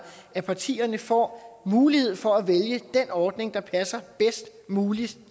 at partierne får mulighed for at vælge den ordning der passer bedst muligt